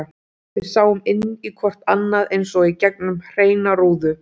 Við sáum inn í hvort annað eins og í gegnum hreina rúðu.